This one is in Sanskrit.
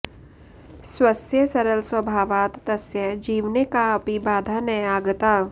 स्वस्य सरलस्वभावात् तस्य जीवने काऽपि बाधा न आगता